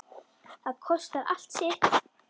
Það kostar allt sitt.